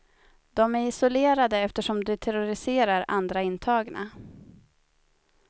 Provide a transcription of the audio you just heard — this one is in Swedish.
De är isolerade, eftersom de terroriserar andra intagna.